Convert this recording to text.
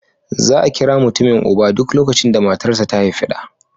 Za a kira mutumin uba, duk lokacin da matarsa ​​ta haifi ɗa